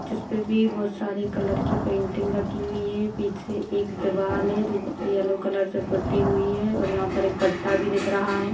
जिसपे भी बहोत सारे कलर की पेंटिंग रखी हुई है पीछे एक दीवाल है जो येलो कलर से पुती हुई है और यहाँ पर एक पट्टा भी दिख रहा है।